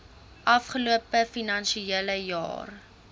afgelope finansiële jaar